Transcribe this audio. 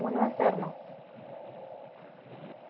മൂന്നു bus ആർന്നു